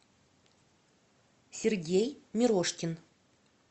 сергей мирошкин